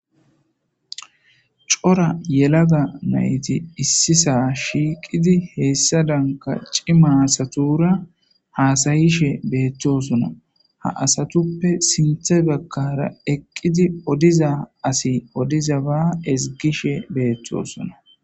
cora yelaga nayti issisa shiiqidi heessa danka cimaasatura haasayishe beetthosona ha asatuppe sinthe baggara eqqidi odiza asi odiza ba ezgishe beeththosona